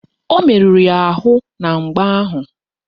O meruru ya arụ na mgba ahụ